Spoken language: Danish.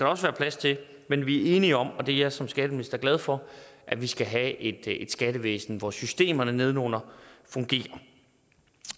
også være plads til men vi er enige om og det er jeg som skatteminister glad for at vi skal have et skattevæsen hvor systemerne nedenunder fungerer